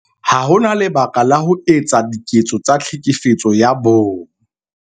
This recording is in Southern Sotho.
Ha ho na lebaka la ho etsa diketso tsa Tlhekefetso ya Bong